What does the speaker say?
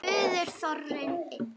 spurði Þórunn enn.